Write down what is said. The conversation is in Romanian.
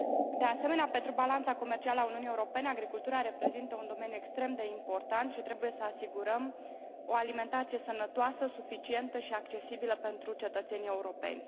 De asemenea, pentru balanța comercială a Uniunii Europene, agricultura reprezintă un domeniu extrem de important și trebuie să asigurăm o alimentație sănătoasă, suficientă și accesibilă pentru cetățenii europeni.